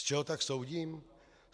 Z čeho tak soudím?